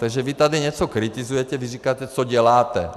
Takže vy tady něco kritizuje, když říkáte, co děláte.